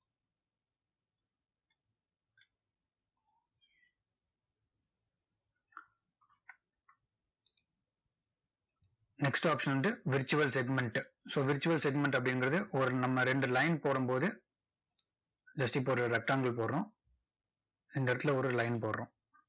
next option வந்துட்டு virtual segment so virtual segment அப்படிங்கறது, ஒரு நம்ம ரெண்டு line போடும்போது just இப்போஒரு rectangle போடுறோம். இந்த இடத்துல ஒரு line போடுறோம்.